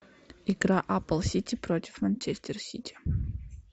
игра апл сити против манчестер сити